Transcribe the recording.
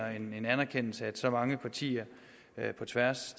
anerkendelse at så mange partier på tværs